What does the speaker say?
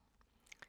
DR2